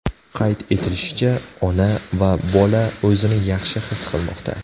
Qayd etilishicha, ona va bola o‘zini yaxshi his qilmoqda.